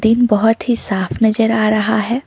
Scene बहुत ही साफ नजर आ रहा है।